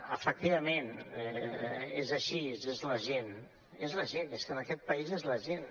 efectivament és així és la gent és que en aquest país és la gent